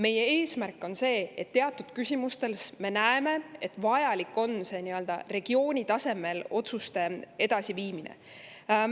Meie eesmärk on see, mida me teatud küsimustes näeme, et on vaja nii-öelda regiooni tasemel otsuseid edasi viia.